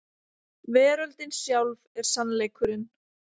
Veröldin sjálf er sannleikurinn.